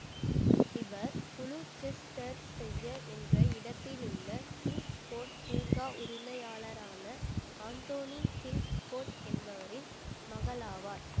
இவர் குளுசெஸ்டெர்சையர் என்ற இடத்திலுள்ள கிங்க்ஸ்கோட் பூங்கா உரிமையாளரான ஆந்தோனி கிங்ஸ்கோட் என்பவரின் மகளாவார்